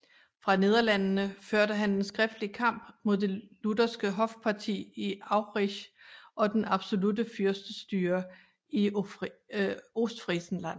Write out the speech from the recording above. Fra Nederlandene førte han en skriftlig kamp mod det lutherske hofparti i Aurich og den absolutte fyrstestyre i Ostfriesland